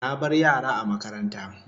Na bar yara a makaranta